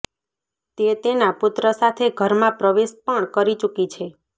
તે તેના પુત્ર સાથે ઘરમાં પ્રવેશ પણ કરી ચુકી છે